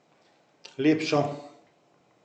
Lepšo.